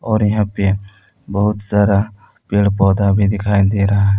और यहां पे बहुत सारा पेड़ पौधा भी दिखाई दे रहा है।